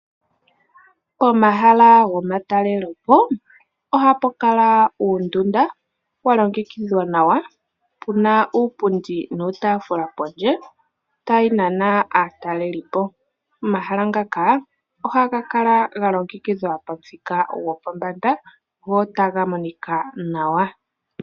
Komahala gomatalele po ohapukala uundundu walongekidhwa nawa puna uupundi nuutaafula pondje tayinana aataleli po. Omahala ngaka ohagakala galongekidhwa pamuthika gopombanda go otagamonika nawa.